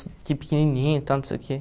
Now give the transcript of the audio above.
Fiquei pequenininho e tal, não sei o quê.